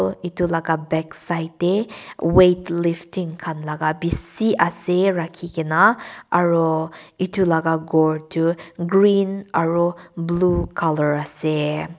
itu laga backside deh weightlifting khan laga bishi ase rakhegena aro itu laga ghor tu green aro blue color ase.